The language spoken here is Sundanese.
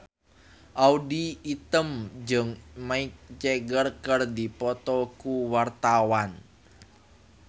Audy Item jeung Mick Jagger keur dipoto ku wartawan